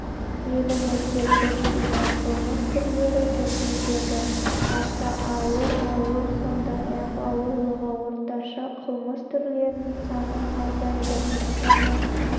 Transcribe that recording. елімізде көптеген қылмыс түрлері төмендеді аса ауыр ауыр сондай-ақ ауырлығы орташа қылмыс түрлерінің саны азайды оның